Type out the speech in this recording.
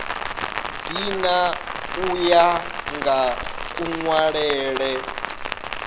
dzina u ya nga kunwalele